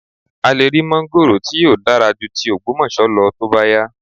A lè rí máńgórò tí yóò dára ju ti Ògbómọ̀ṣọ́ lọ tó bá yá